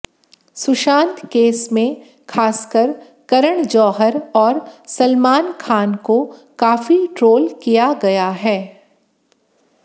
Sushant case में खासकर करण जौहर और सलमान खान को काफी ट्रोल किया गया है